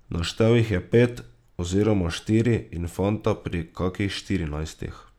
Naštel jih je pet, oziroma štiri in fanta pri kakih štirinajstih.